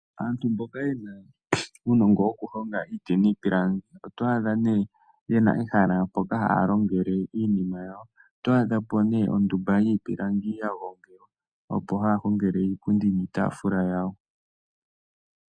Aantu mboka yena uunongo moku honga iiti niipilangi. Oto adha ne yena ehala mpoka haya hongele iinima yawo, oto adhapo ondumba yiipilangi ya gongelwa, opo haya hongele iipundi niitafula yawo.